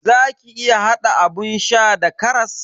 Zaki iya hada abun sha da karas.